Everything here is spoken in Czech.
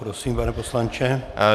Prosím, pane poslanče.